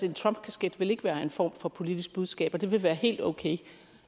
en trumpkasket ikke vil være en form for politisk budskab og at det vil være helt okay